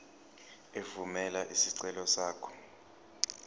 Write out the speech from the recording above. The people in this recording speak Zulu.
evumela isicelo sakho